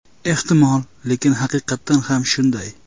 Ehtimol, lekin haqiqatan ham shunday.